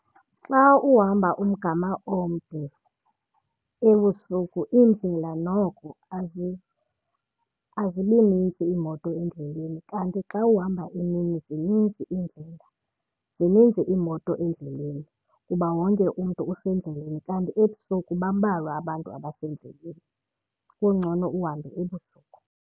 Xa uhamba umgama omde ebusuku, iindlela noko azibinintsi imoto endleleni kanti xa uhamba emini zininzi iindlela, zininzi iimoto endleleni kuba wonke umntu usendleleni. Kanti ebusuku bambalwa abantu abasendleleni, kungcono uhambe ebusuku.